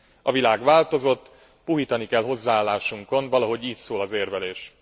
A világ változott, puhítani kell hozzáállásunkon, valahogy így szól az érvelés.